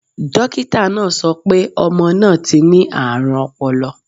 Dókítà náà sọ pé ọmọ náà ti ní àrùn ọpọlọ.